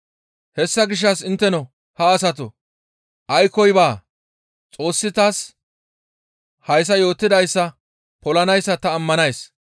Hessa gishshas intteno ha asatoo aykkoy baa; Xoossi taas hayssa yootidayssa polanayssa ta ammanays.